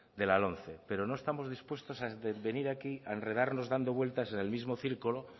de la lomce pero no estamos dispuestos a venir aquí a enredarnos dando vueltas en el mismo círculo